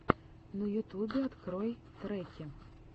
на ютубе открой треки